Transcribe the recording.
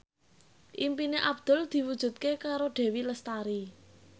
impine Abdul diwujudke karo Dewi Lestari